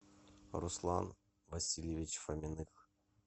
руслан васильевич фоминых